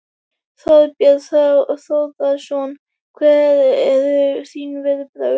Þorbjörn Þórðarson: Hver eru þín viðbrögð?